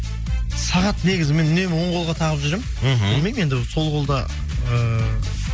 сағат негізі мен үнемі оң қолға тағып жүремін мхм білмеймін енді сол қолда ыыы